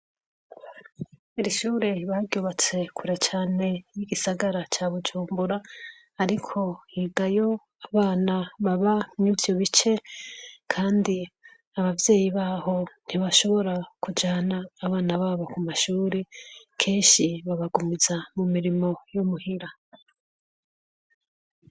Rishure baryubatse kura cane y'igisagara ca bujumbura, ariko higayo abana baba mwivyo bice, kandi abavyeyi baho ntibashobora kujana abana babo ku mashure kenshi babagumiza mu mirimo yo muhira a.